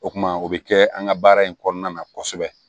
O kuma o bɛ kɛ an ka baara in kɔnɔna na kosɛbɛ